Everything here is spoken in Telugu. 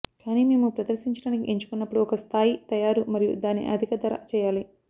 కానీ మేము ప్రదర్శించడానికి ఎంచుకున్నప్పుడు ఒక స్థాయి తయారు మరియు దాని అధిక ధర చేయాలి